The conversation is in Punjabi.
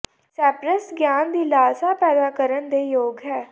ਸੈੱਪਰਸ ਗਿਆਨ ਦੀ ਲਾਲਸਾ ਪੈਦਾ ਕਰਨ ਦੇ ਯੋਗ ਹੈ